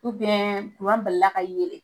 kuran balila ka yɛlɛ.